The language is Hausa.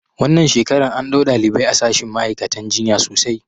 Wannan shekarar an ɗau ɗalibai a shashin ma'aikatan jinya sosai